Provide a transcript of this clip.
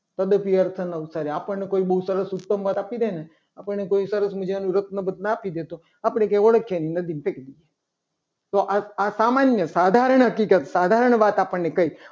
તો એનું અર્થ જ નથી. આપણને કોઈ બહુ સરસ ઉત્તમ આપી દેને આપણને બહુ સરસ મજાનું રત્ન બટન આપી દેને તો ઓળખીએ જ નહીં. આપણે નદીમાં ફેંકી દઈએ. તો આ સામાન્ય સાધારણ હકીકત સાધારણ વાત આપણને કહી.